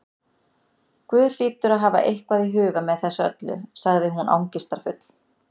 Guð hlýtur að hafa eitthvað í huga með þessu öllu- sagði hún angistarfull.